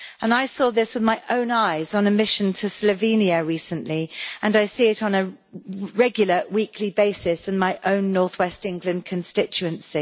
I saw this with my own eyes on a mission to Slovenia recently and I see it on a regular weekly basis in my own North West England constituency.